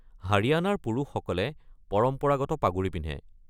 হাৰিয়ানাৰ পুৰুষসকলে পৰম্পৰাগত পাগুৰি পিন্ধে।